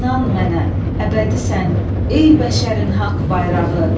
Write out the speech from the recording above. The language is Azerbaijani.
İnan mənə, əbədisən, ey bəşərin haqq bayrağı.